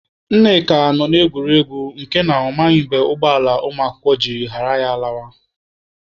Nneka nọ na-egwuri egwu nke na ọ maghị mgbe ụgbọala ụmụakwụkwọ ji ghara ya lawa.